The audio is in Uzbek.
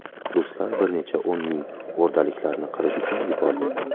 Ruslar bir necha o‘n ming o‘rdaliklarni qirish uchun yubordi.